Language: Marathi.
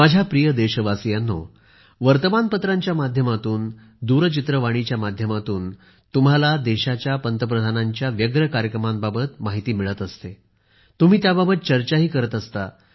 माझ्या प्रिय देशवासीयांनो वर्तमानपत्रांच्या माध्यमातून दूरचित्रवाणीच्या माध्यमातून तुम्हाला देशाच्या पंतप्रधानांच्या व्यस्त कार्यक्रमांबाबत माहिती मिळत असते तुम्ही त्याबाबत चर्चाही करता